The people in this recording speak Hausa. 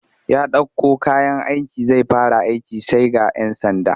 Ya ɗauko kayan aiki zai fara aiki sai ga 'yan sanda